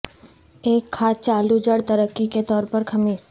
ایک کھاد چالو جڑ ترقی کے طور پر خمیر